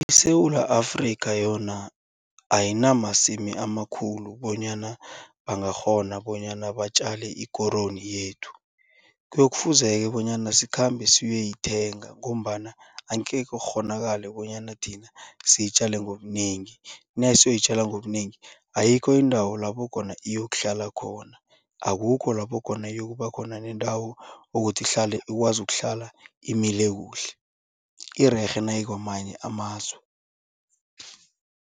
ISewula Afrika yona ayinamasimu amakhulu bonyana bangakghona bonyana batjale ikoroyi yethu. Kuyofuze-ke bonyana sikhambe siyeyoyithenga ngombana angekhe kukghonakale bonyana thina siyitjale ngobunengi. Nasiyoyitjala ngobunengi ayikho iindawo lapho khona iyokuhlala khona akukho lapho khona iyokubakhona nendawo ukuthi ihlale ikwazi ukuhlala imile kuhle irerhe nayikwamanye amazwe.